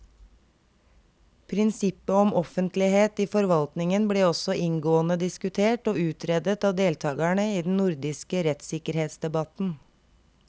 Prinsippet om offentlighet i forvaltningen ble også inngående diskutert og utredet av deltakerne i den nordiske rettssikkerhetsdebatten.